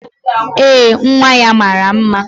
Ee, nwa ya mara mma